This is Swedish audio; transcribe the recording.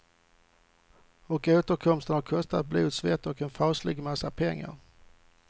Och återkomsten har kostat blod, svett och en faslig massa pengar.